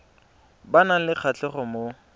ba nang le kgatlhego mo